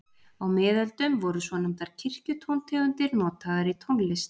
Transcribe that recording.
Á miðöldum voru svonefndar kirkjutóntegundir notaðar í tónlist.